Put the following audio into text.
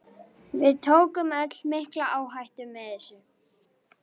Við tökum öll mikla áhættu með þessu.